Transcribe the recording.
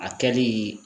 A kɛli